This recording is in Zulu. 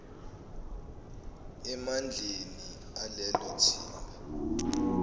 emandleni alelo thimba